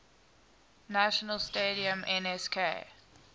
national stadium nsk